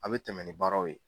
A' bɛ tɛmɛ ni baaraw ye.